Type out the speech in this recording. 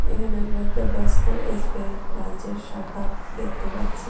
এখানে আমরা একটা ব্যস্ত এস_বি_আই ব্রাঞ্চের শাখা দেখতে পাচ্ছি।